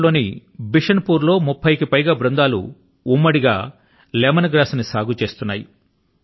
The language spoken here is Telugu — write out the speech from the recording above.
ఝార్ ఖండ్ లోని బిషున్ పుర్ లో 30 కి పైగా సమూహాలు ఉమ్మడి గా లెమన్ గ్రాస్ ను సాగు చేస్తున్నాయి